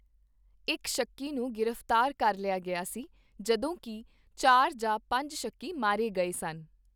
ਇੱਕ ਸ਼ੱਕੀ ਨੂੰ ਗ੍ਰਿਫਤਾਰ ਕਰ ਲਿਆ ਗਿਆ ਸੀ, ਜਦੋਂ ਕੀ ਚਾਰ ਜਾਂ ਪੰਜ ਸ਼ੱਕੀ ਮਾਰੇ ਗਏ ਸਨ।